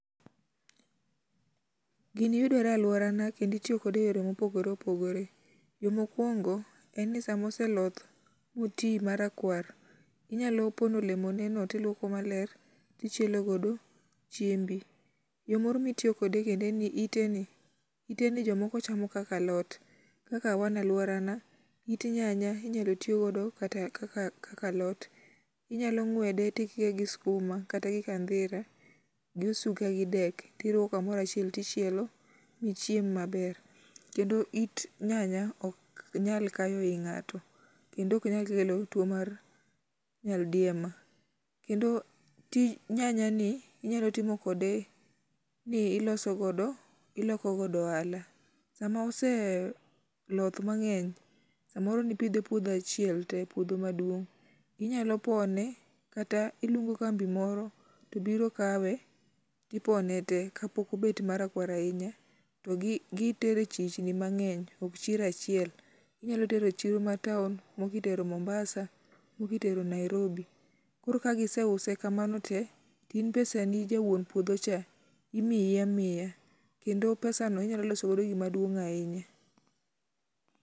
Gini yudore e aluorana kendo itiyo kode eyore mopogore opogore. Yo mokuongo, en ni sama oseloth, moti marakwar, inyalo pono oemone no, to iluoko maler to ichielo godo chiembi. Yo moro mitiyo godo en ni iteni iteni jomoko chamo kaka alot kaka wan e aluorana it nyanya inyalo ti godo kata kaka alot, inyalo ng'wede to ikike gi sikuma kata gi kandhira gi osuga gi dek to iriwo kamoro achiel to ichielo michiem maber. Kendo it nyanya ok nyal kayo i ng'ato kendo ok nyal kelo tuo mar nyaldiema. Kendo tij nyanyani inyalo timo kode ni iloso godo iloko godo ohala. Sama ose loth mang'eny samoro ne ipidhe puodho achiel te puodho maduong', inyalo pone kata iluongo kambi moro to biro kawe to ipone te kapok obet marakwar ahinya to gitere e chich gi mang'eny ok chiro achiel. Inyalo tero e chiro ma town, moko itero Mombasa, moko itero Nairobi. Koro ka giseuse kamano te in pesa ni kaka wuon puodho cha imiyi amiya kendo pesa no inyalo loso go gima duong' ahinya.